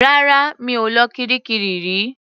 Rárá. Mi ò lọ kiríkirì rí.